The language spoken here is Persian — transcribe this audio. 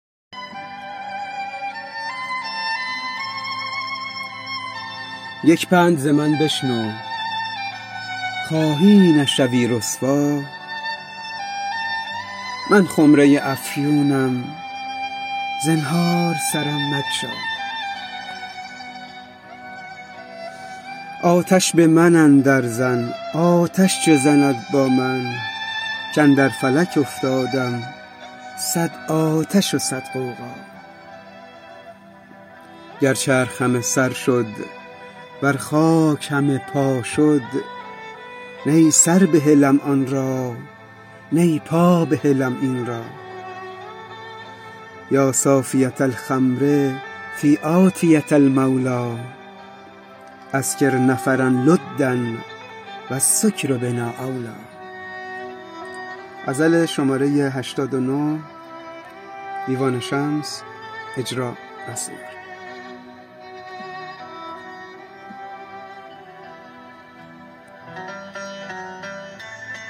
یک پند ز من بشنو خواهی نشوی رسوا من خمره ی افیونم زنهار سرم مگشا آتش به من اندرزن آتش چه زند با من کاندر فلک افکندم صد آتش و صد غوغا گر چرخ همه سر شد ور خاک همه پا شد نی سر بهلم آن را نی پا بهلم این را یا صافیه الخمر فی آنیه المولی اسکر نفرا لدا و السکر بنا اولی